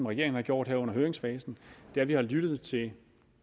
regeringen har gjort her under høringsfasen er at vi har lyttet til